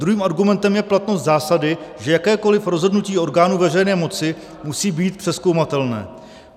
Druhým argumentem je platnost zásady, že jakékoliv rozhodnutí orgánu veřejné moci musí být přezkoumatelné.